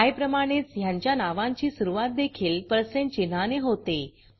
I प्रमाणेच ह्यांच्या नावांची सुरूवात देखील percentपर्सेंट चिन्हाने होते